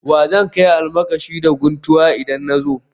Wa zan kai almakashi da guntuwa idan na zo